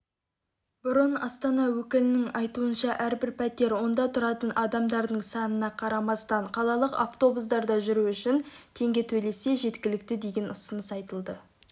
бұрын астана өкілінің айтуынша әрбір пәтер онда тұратын адамдардың санынақарамастан қалалық автобустарда жүру үшін теңге төлесе жеткілікті деген ұсыныс айтылған